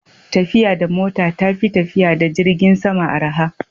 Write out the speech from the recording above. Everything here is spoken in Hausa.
tafiya da mota ta fi tafiya da jirgin sama araha